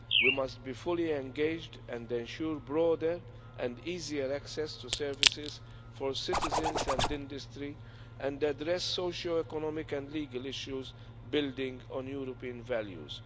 We must be fully engaged and ensure broader and easier access to services for citizens and industry and address socio economic and legal issues, building on European values.